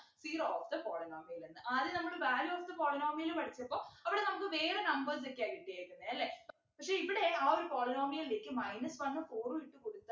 zero of the polynomial എന്ന് ആദ്യം നമ്മള് value of the polynomial പഠിച്ചപ്പോ അവിടെ നമുക്ക് വേറെ numbers ഒക്കെയാ കിട്ടിയേക്കുന്നെ അല്ലെ പക്ഷെ ഇവിടെ ആ ഒരു polynomial ലേക്ക് minus one ഉം four ഉം ഇട്ടു കൊടുത്ത